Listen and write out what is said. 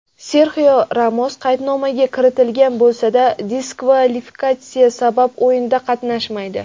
Serxio Ramos qaydnomaga kiritilgan bo‘lsada diskvalifikatsiya sabab o‘yinda qatnashmaydi.